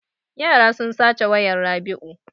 Yara sun sace wayan Rabiu.